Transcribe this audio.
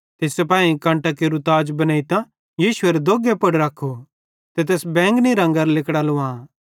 ते सिपाहीयेइं कंटां केरू ताज बनेइतां यीशुएरे दोग्गे पुड़ रख्खू ते तैस बैंजनी रंगेरां लिगड़ां लुवां